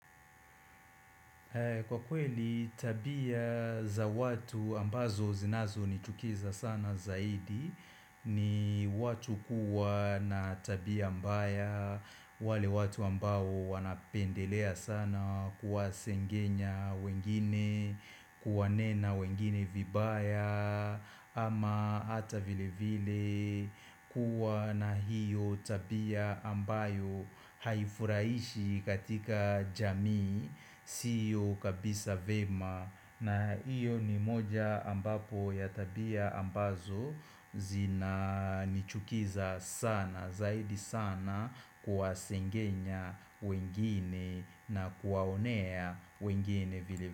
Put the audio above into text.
Kwa kweli tabia za watu ambazo zinazonichukiza sana zaidi ni watu kuwa na tabia mbaya wale watu ambao wanapendelea sana kuwasengenya wengine, kuwanena wengine vibaya ama hata vile vile kuwa na hiyo tabia ambayo haifuraishi katika jamii Sio kabisa vema na hiyo ni moja ambapo ya tabia ambazo zinanichukiza sana zaidi sana kuwasengenya wengine na kuwaonea wengine vile.